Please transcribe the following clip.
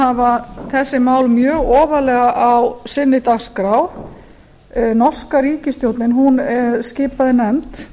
hafa þessi mál mjög ofarlega á sinni dagskrá norska ríkisstjórnin skipaði nefnd